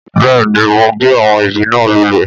Bẹ́ẹ̀ ni, mo gé àwọn igi náà lulẹ̀